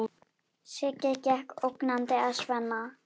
Siggi gekk ógnandi að Svenna.